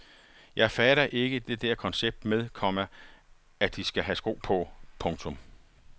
Jeg fatter ikke det der koncept med, komma at de skal have sko på. punktum